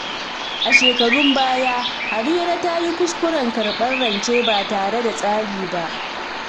A shekarun baya, Harira ta yi kuskuren karɓar rance ba tare da tsari ba.